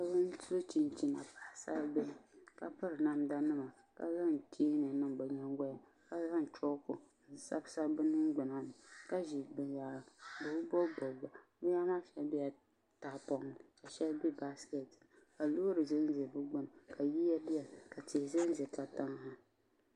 Bihi so chinchina paɣa sari bihi ka piri namdanima ka zan cheeni niŋ binyiŋ golini ka zan chokinima n sabisabi bɛ niŋgbuna ka zi binyɛra bɛ bi bobibobiga nema maa shɛŋa bɛla tahipoŋni ka shɛŋa baasikeetini ka loori zɛnzɛ bɛ gbuni ka tihi zɛnzɛ ka tinha